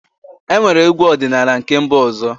Enwere egwu ọdịnala na nke mba ọzọ